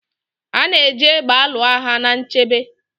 A na-eji égbè alụ agha na nchebe.